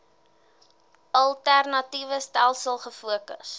alternatiewe stelsels gefokus